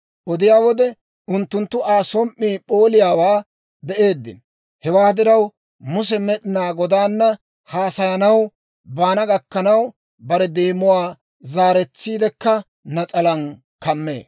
Odiyaa wode, unttunttu Aa som"ii p'ooliyaawaa be'eeddino. Hewaa diraw, Muse Med'inaa Godaana haasayanaw baana gakkanaw, bare deemuwaa zaaretsiidekka nas'alaan kammee.